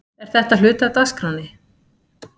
Er þetta hluti af dagskránni?